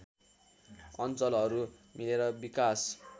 अञ्चलहरू मिलेर विकास